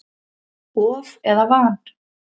Of eða van?